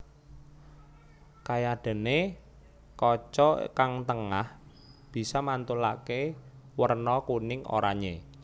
Kayadené kaca kang tengah bisa mantulaké werna kuning oranyé